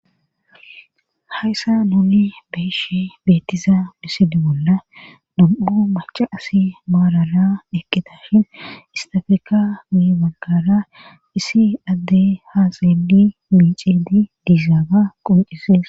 Hayssa nuuni beeshe beettiza misidi bolla dam7u maca asi maarara ekkitashin istafeka mi maggara isi adde haaseeli miicedi diizaaga qoncisees